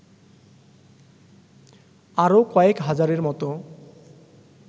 আরও কয়েক হাজারের মতো